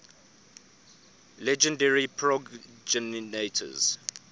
legendary progenitors